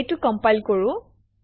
এইটো কমপাইল কৰোঁ